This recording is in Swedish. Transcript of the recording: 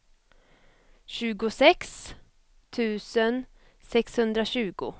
tjugosex tusen sexhundratjugo